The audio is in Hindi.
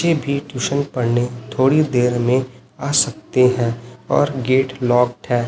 ये भी ट्यूशन पढ़ने थोड़ी देर में आ सकते है और गेट लॉक है।